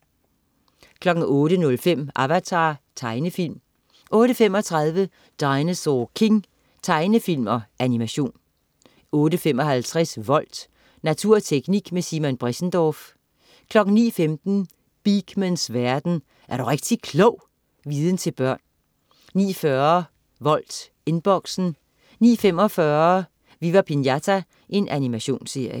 08.05 Avatar. Tegnefilm 08.35 Dinosaur King. Tegnefilm/animation 08.55 Volt. Natur og teknik med Simon Bressendorff 09.15 Beakmans verden. Er du rigtig klog! Viden til børn 09.40 Volt, Inboxen 09.45 Viva Pinata. Animationsserie